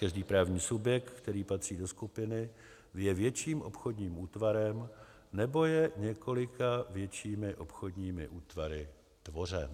Každý právní subjekt, který patří do skupiny, je větším obchodním útvarem nebo je několika většími obchodními útvary tvořen.